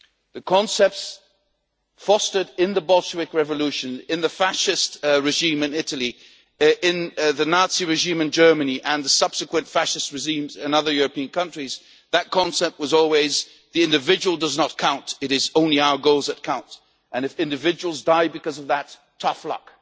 The concept fostered in the Bolshevik revolution, in the Fascist regime in Italy, in the Nazi regime in Germany, and in the subsequent Fascist regimes in other European countries, was always that the individual does not count it is only our goals that count, and if individuals die because of that, tough luck.